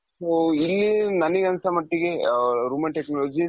so ಇಲ್ಲಿ ನನಿಗೆ ಅನ್ಸೋ ಮಟ್ಟಿಗೆ ಅ Roman technologies